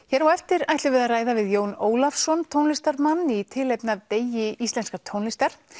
hér á eftir ætlum við að ræða við Jón Ólafssonn tónlistarmann í tilefni af degi íslenskrar tónlistar